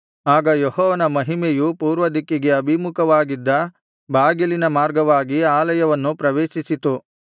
ಆಗ ಯೆಹೋವನ ಮಹಿಮೆಯು ಪೂರ್ವದಿಕ್ಕಿಗೆ ಅಭಿಮುಖವಾಗಿದ್ದ ಬಾಗಿಲಿನ ಮಾರ್ಗವಾಗಿ ಆಲಯವನ್ನು ಪ್ರವೇಶಿಸಿತು